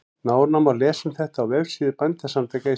Nánar má lesa um þetta á vefsíðu Bændasamtaka Íslands.